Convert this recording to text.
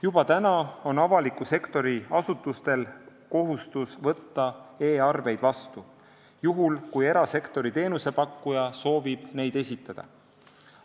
Juba praegu on avaliku sektori asutustel kohustus võtta e-arveid vastu, juhul kui erasektori teenusepakkuja soovib neid esitada.